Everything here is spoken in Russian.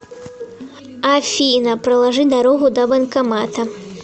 афина проложи дорогу до банкомата